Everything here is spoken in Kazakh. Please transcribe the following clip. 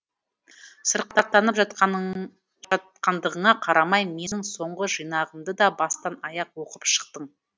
сырқаттанып жатқандығыңа қарамай менің соңғы жинағымды да бастан аяқ оқып шықтың